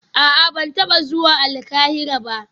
A'a ban taba zuwa Alkahira ba